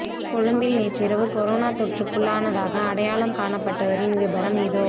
கொழும்பில் நேற்றிரவு கொரோனா தொற்றுக்குள்ளானதாக அடையாளம் காணப்பட்டவரின் விபரம் இதோ